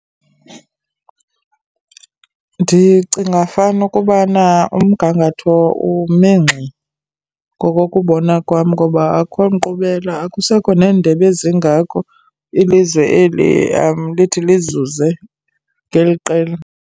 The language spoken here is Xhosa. Ndicinga fana ukubana umgangatho ume ngxi ngokokubona kwam ngoba akho nkqubela. Akusekho neendebe ezingako ilizwe eli lithi lizuze ngeli qela.